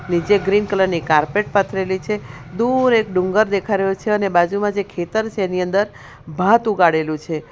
નીચે green colour ની carpet પાથરેલી છે દૂર એક ડુંગર દેખાય રહ્યો છે અને બાજુમાં જે ખેતર છે એની અંદર ભાત ઉગાડેલું છે.